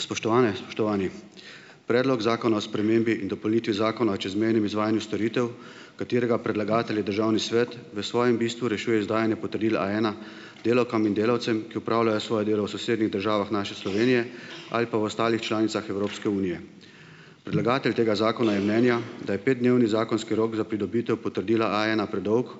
Spoštovane, spoštovani! Predlog zakona o spremembi in dopolnitvi Zakona o čezmejnem izvajanju storitev, katerega predlagatelj je Državni svet, v svojem bistvu rešuje izdajanje potrdila A ena delavkam in delavcem, ki opravljajo svoje delo v sosednjih državah naše Slovenije ali pa v ostalih članicah Evropske unije. Predlagatelj tega zakona je mnenja, da je petdnevni zakonski rok za pridobitev potrdila A ena predolg